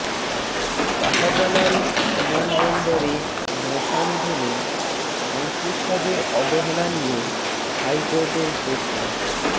শাহজালাল বিমানবন্দরে মশা নিধনে সংশ্লিষ্টদের অবহেলা নিয়ে হাইকোর্টের প্রশ্ন